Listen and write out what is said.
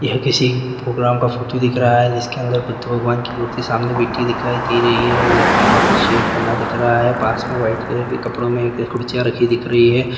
यह किसी प्रोग्राम का फोटो दिख रहा है जिसके अंदर कुछ दो भगवान की मूर्ति सामने बैठी हुई दिख रही है वो लकड़ी का कुछ सेट बना दिख रहा है पास में व्हाइट कलर के कपड़ो में कुछ कुर्सियां रखी दिख रही है।